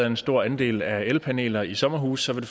en stor andel af elpaneler i sommerhuse vil